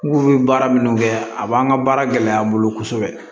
N ko bɛ baara minnu kɛ a b'an ka baara gɛlɛya n bolo kosɛbɛ